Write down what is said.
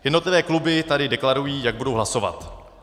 Jednotlivé kluby tady deklarují, jak budou hlasovat.